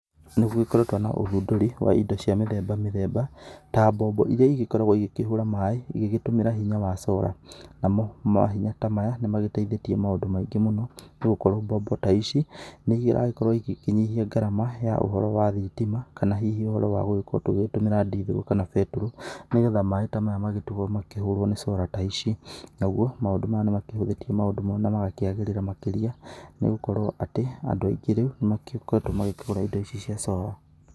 Nĩgũgĩkoretwo na ũthundũri wa indo cia mĩthemba mĩthemba, ta mbombo iria igĩkoragwo igĩkĩhũra maĩ igĩgĩtũmĩra hinya wa solar. Namo mahinya ta maya, nĩmagĩteithĩtie maũndũ maingĩ mũno, nĩgũkorwo mbombo ta ici, nĩiragĩkorwo igĩkĩnyihia ngarama ya ũhoro wa thitima, kana hihi ũhoro wa gũgĩkorwo tũgĩgĩtũmĩra ndithũrũ kana betũrũ, nĩgetha maĩ ta maya magĩtigwo makĩhũrwo nĩ solar ta ici. Naguo, maũndũ maya nĩmakĩhũthĩtie maũndũ mo, na magakĩagĩrĩra makĩria. Nĩgũkorwo atĩ, andũ aingĩ rĩu nĩmagĩkoretwo makĩgũra indo ici cia solar.